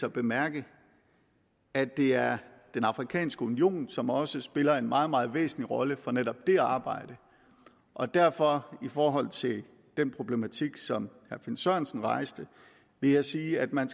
at bemærke at det er den afrikanske union som også spiller en meget meget væsentlig rolle for netop det arbejde og derfor i forhold til den problematik som herre finn sørensen rejste vil jeg sige at man